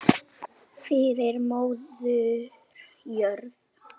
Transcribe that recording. Fyrir móður jörð.